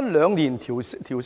每兩年增加一天。